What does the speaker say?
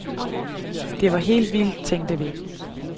Det var helt vildt, tænkte vi.